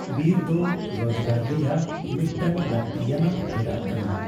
ᱵᱤᱨ ᱫᱚ ᱨᱚᱪᱠᱟᱨ ᱨᱮᱭᱟᱜ ᱢᱤᱫᱴᱟᱝ ᱞᱟᱹᱠᱛᱤᱭᱟᱱᱟᱜ ᱯᱷᱮᱰᱟᱛ ᱠᱟᱱᱟ ᱾